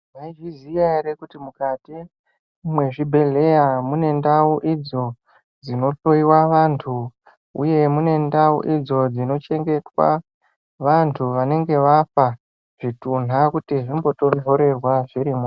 Mwaizviziya ere kuti mukati mwezvibhedhleya mune ndau idzo dzino hloyiwa vanthu uye mune ndau idzo dzinochengetwa vantu vanenge vafa zvitunha kuti zvimbotonhorerwa.